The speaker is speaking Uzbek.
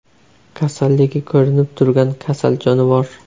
Kasalligi ko‘rinib turgan kasal jonivor.